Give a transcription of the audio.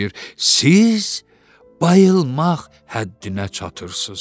Siz bayılmaq həddinə çatırsız.